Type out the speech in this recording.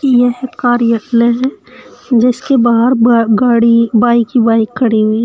यह एक कार्य लय जिसके बाहर ब गाड़ी बाइक ही बाइक खड़ी हुई --